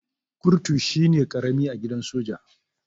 Kurtu shine karami a gidan soja.